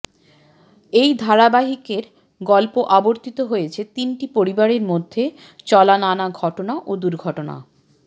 এই ধারাবাহিকের গল্প আবর্তিত হয়েছে তিনটি পরিবারের মধ্যে চলা নানা ঘটনা ও দূর্ঘটনা